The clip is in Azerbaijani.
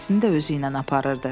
Ailəsini də özü ilə aparırdı.